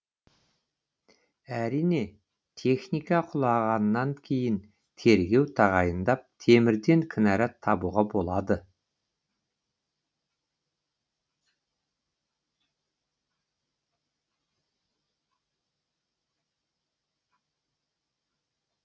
әрине техника құлағаннан кейін тергеу тағайындап темірден кінәрат табуға болады